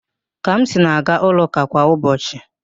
Kamsi na-aga ụlọ ụka kwa ụbọchị